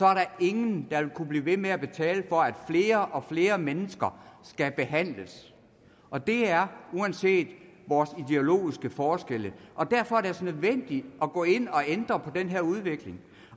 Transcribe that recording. er der ingen der vil kunne blive ved med at betale for at flere og flere mennesker skal behandles og det er uanset vores ideologiske forskelle derfor er det altså nødvendigt at gå ind og ændre på den her udvikling